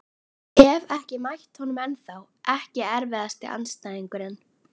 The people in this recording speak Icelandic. Hef ekki mætt honum ennþá Ekki erfiðasti andstæðingur?